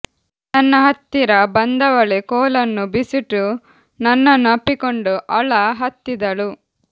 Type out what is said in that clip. ನನ್ನ ಹತ್ತಿರ ಬಂದವಳೆ ಕೋಲನ್ನು ಬಿಸುಟು ನನ್ನನ್ನು ಅಪ್ಪಿಕೊಂಡು ಅಳ ಹತ್ತಿದಳು